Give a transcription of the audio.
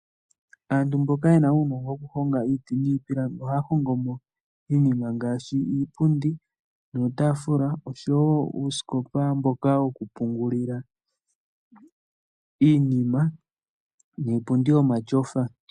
Aantu mboka yena uunogo woku honga iiti niipilangi ohaa hongo mo iinima ngaashi iipundi nuutafula oshowo uusikopa mboka woku pungulila iinima, niipundi yomatyofa.